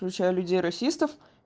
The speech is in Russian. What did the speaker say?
включая людей расистов